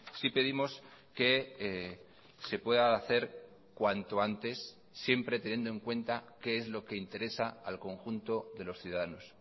sí pedimos que se pueda hacer cuanto antes siempre teniendo en cuenta qué es lo que interesa al conjunto de los ciudadanos